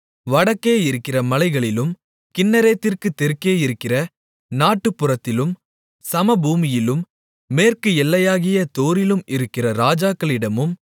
வடக்கே இருக்கிற மலைகளிலும் கின்னரேத்திற்குத் தெற்கே இருக்கிற நாட்டுப்புறத்திலும் சமபூமியிலும் மேற்கு எல்லையாகிய தோரிலும் இருக்கிற ராஜாக்களிடமும்